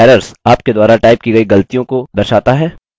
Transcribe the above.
errors – आपके द्वारा type की गई गलतियों की दर्शाता है